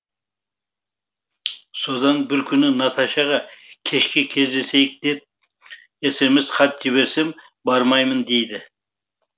содан бір күні наташаға кешке кездесейік деп смс хат жіберсем бармаймын дейді